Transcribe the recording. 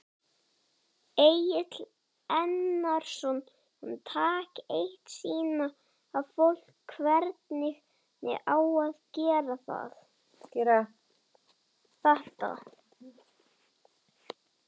Egill Einarsson: Taka eitt, sýna fólki hvernig á að gera þetta?